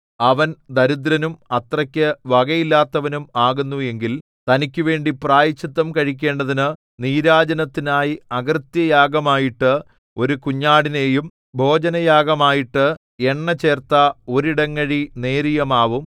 അവൻ ദരിദ്രനും അത്രയ്ക്കു വകയില്ലാത്തവനും ആകുന്നു എങ്കിൽ തനിക്കുവേണ്ടി പ്രായശ്ചിത്തം കഴിക്കേണ്ടതിനു നീരാജനത്തിനായി അകൃത്യയാഗമായിട്ട് ഒരു കുഞ്ഞാടിനെയും ഭോജനയാഗമായിട്ട് എണ്ണചേർത്ത ഒരിടങ്ങഴി നേരിയമാവും